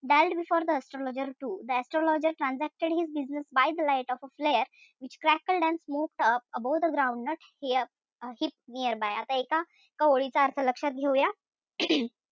Dallied before the astrologer too the astrologer transacted his business by the light of a flare which crackled and smoked up above the groundnut heap nearby आता एका एका ओळीचा अर्थ लक्षात घेऊया.